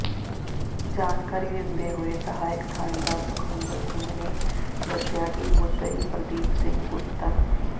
ਜਾਣਕਾਰੀ ਦਿੰਦੇ ਹੋਏ ਸਹਾਇਕ ਥਾਣੇਦਾਰ ਸੁਖਵਿੰਦਰ ਸਿੰਘ ਨੇ ਦੱਸਿਆ ਕਿ ਮੁੱਦਈ ਪਰਦੀਪ ਸਿੰਘ ਪੁੱਤਰ